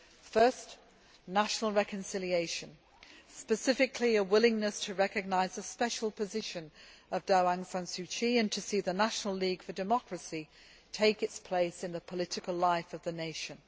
First national reconciliation, specifically a willingness to recognise the special position of Daw Aung San Suu Kyi and to see the National League for Democracy take its place in the political life of the nation.